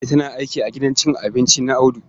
Ladi tana aiki a gidan cin abinci na Audu.